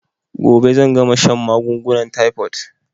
Gobe zan gama shan magungunan taifot